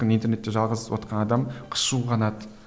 интернетте жалғыз отқан адам қышуы қанады